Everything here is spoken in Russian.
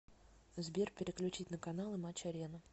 сбер переключить на каналы матч арена